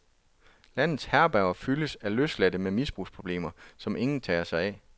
Landets herberger fyldes af løsladte med misbrugsproblemer, som ingen tager sig af.